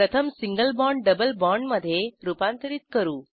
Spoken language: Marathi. प्रथम सिंगल बाँड डबल बाँडमधे रूपांतरित करू